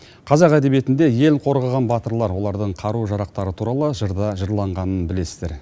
қазақ әдебиетінде ел қорғаған батырлар олардың қару жарақтары туралы жырда жырланғанын білесіздер